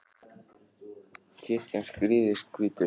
kirkjan skrýðist hvítu